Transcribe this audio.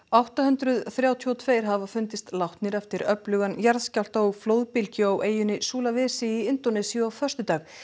átta hundruð þrjátíu og tvö hafa fundist látnir eftir öflugan jarðskjálfta og flóðbylgju á eyjunni í Indónesíu á föstudag